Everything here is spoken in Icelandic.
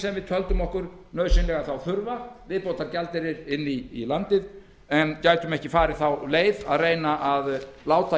sem við töldum okkur nauðsynlega þurfa viðbótargjaldeyri inn í landið en gætum ekki farið þá leið að reyna að láta